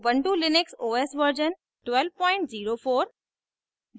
ubuntu Linux os version 1204